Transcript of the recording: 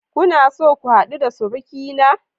Kuna so ku hadu da surukina?